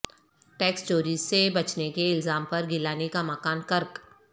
tax چوری سے بچنے کے الزام پر گیلانی کا مکان قرق